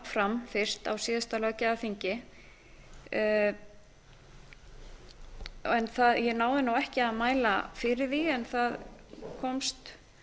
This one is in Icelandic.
fram fyrst á síðasta löggjafarþingi en náði ekki að mæla fyrir því en það komst